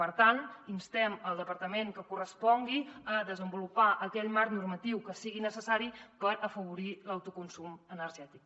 per tant instem el departament que correspongui a desenvolupar aquell marc normatiu que sigui per afavorir l’autoconsum energètic